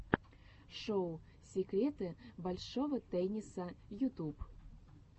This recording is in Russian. шоу секреты большого тенниса ютуб